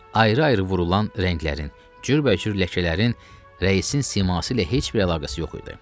Ayrı-ayrı vurulan rənglərin, cürbəcür ləkələrin rəisin siması ilə heç bir əlaqəsi yox idi.